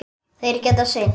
Þeir geta synt.